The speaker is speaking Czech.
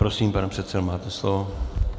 Prosím, pane předsedo, máte slovo.